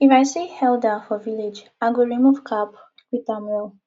if i see elder for village i go remove cap greet am well